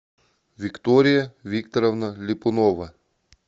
виктория викторовна ляпунова